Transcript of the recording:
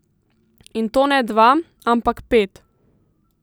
In to ne dva, ampak pet.